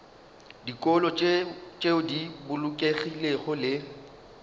dikolo tšeo di bolokegilego le